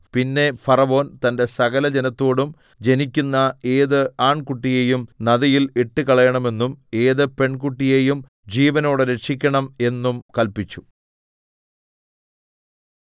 പിന്നെ ഫറവോൻ തന്റെ സകലജനത്തോടും ജനിക്കുന്ന ഏത് ആൺകുട്ടിയെയും നദിയിൽ ഇട്ടുകളയണമെന്നും ഏത് പെൺകുട്ടിയെയും ജീവനോടെ രക്ഷിക്കണം എന്നും കല്പിച്ചു